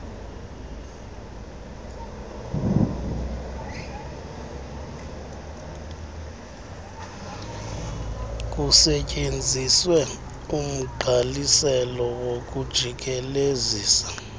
kusetyenziswe umgqaliselo wokujikelezisa